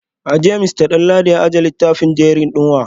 A jiya Mr Danladi ya ajiye littafin diary din wa?